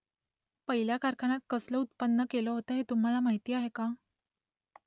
पहिल्या कारखान्यात कसलं उत्पादन केलं होतं ते तुम्हाला माहीत आहे का ?